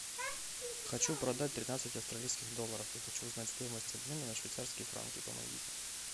хочу продать тринадцать австралийских долларов и хочу узнать стоимость обмена на швейцарские франки помогите